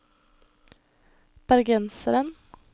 bergenseren